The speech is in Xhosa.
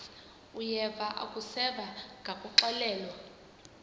uyeva akuseva ngakuxelelwa